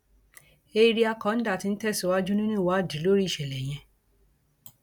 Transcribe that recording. eèríà kọńdà tí ń tẹsíwájú nínú ìwádìí lórí ìṣẹlẹ yẹn